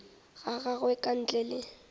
ga gagwe ka ntle le